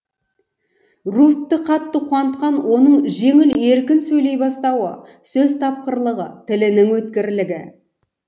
руфьті қатты қуантқан оның жеңіл еркін сөйлей бастауы сөз тапқырлығы тілінің өткірлігі